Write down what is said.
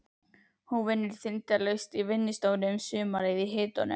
Hún vinnur þindarlaust í vinnustofunni um sumarið í hitunum.